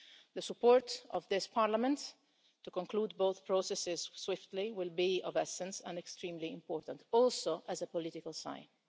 The support of this Parliament to conclude both processes swiftly will be of the essence and extremely important, also as a political sign.